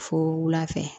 Fo wula fɛ